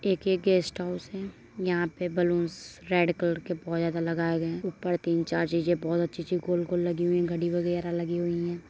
एक ये guest house है | यहाँ पर बलून्स रेड कलर के बहुत ज्यादा लगाए गएँ है ऊपर तीन चार चीज़ें गोल गोल बहुत अच्छी अच्छी लगी लगी हुई है घड़ी वगैरह लगी हुई हैं ।